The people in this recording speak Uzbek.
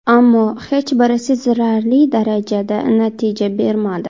Ammo hech biri sezilarli darajada natija bermadi.